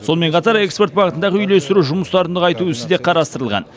сонымен қатар экспорт бағытындағы үйлестіру жұмыстарын нығайту ісі де қарастырылған